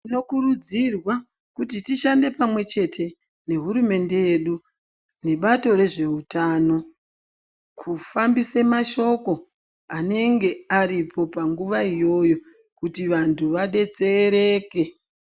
Tinokurudzirwawo kuti tishande pamwe chete nehurumende yedu nebato rezveutano kufambise mashoko anenge aripo panguva iyoyo kuti vantu vadetsereke.